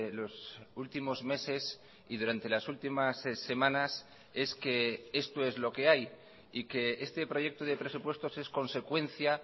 los últimos meses y durante las últimas semanas es que esto es lo que hay y que este proyecto de presupuestos es consecuencia